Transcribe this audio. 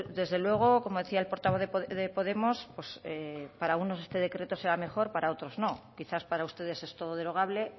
desde luego como decía el portavoz de podemos pues para unos este decreto será mejor para otros no quizás para ustedes es todo derogable